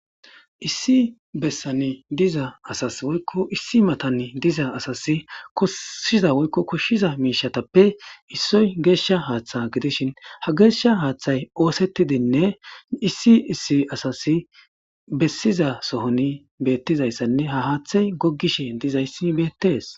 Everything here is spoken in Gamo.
issi bessani diza asas woykko issi matani diza asas kosshiza woykko koshshiza miishatappe issoy geeshsha haaththa gidishin ha geeshsha haaththay oosettidinne issi issi asasi bessiza sohoni beettizayssanne ha haaththay goggishe dizayssi beettees